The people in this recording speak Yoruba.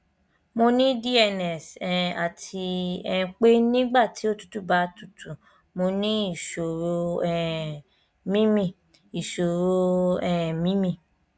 mo ní dns um àti um pé nígbà tí òtútù bá tutù mo ní ìṣòro um mímí ìṣòro um mímí